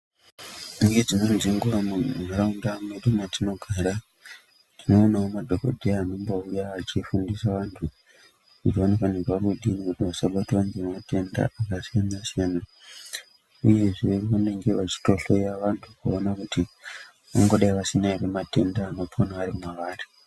Mune dzimweni dzenguwa mu nharaunda mwedu matino gara tinoonawo ma dhokodheya anombouya achi fundisa antu kuti vanofanirwa kudini kuti vasabatwa nema tenda aka siyana siyana uyezve vanenge vachito hleya vantu kuona kuti vangadai vasina ere matenda anopona ari mwavari.